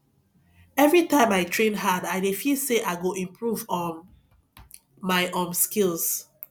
every time i train hard i dey feel say i go improve um my um skills